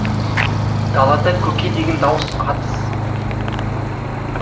далада көке деген дауыс атыс